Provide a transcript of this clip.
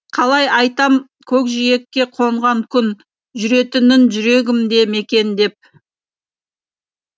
қалай айтам көкжиекке қонған күн жүретінін жүрегімде мекендеп